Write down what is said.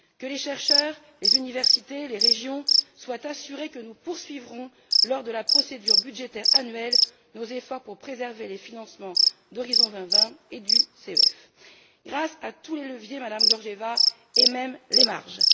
Que les chercheurs, les universités, les régions soient assurés que nous poursuivrons, lors de la procédure budgétaire annuelle, nos efforts pour préserver les financements d'Horizon 2020 et du CEF, grâce à tous les leviers, Madame Georgieva, et même les marges.